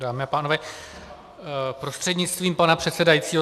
Dámy a pánové, prostřednictvím pana předsedajícího.